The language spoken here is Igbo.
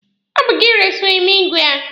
Ọ bụ gị resiri m igwe a.